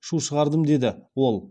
шу шығардым деді ол